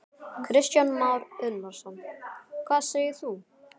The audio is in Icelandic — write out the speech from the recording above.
Kristján Már Unnarsson: Hvað segir þú?